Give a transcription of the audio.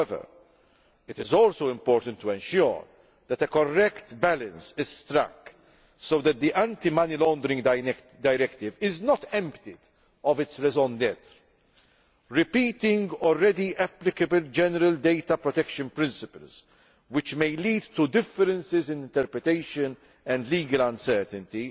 However, it is also important to ensure that a correct balance is struck so that the anti money laundering directive does not lose its raison d'être Repeating already applicable general data protection principles, which may lead to differences in interpretation and legal uncertainty,